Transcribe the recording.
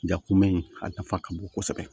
Ja kunbɛ in a nafa ka bon kosɛbɛ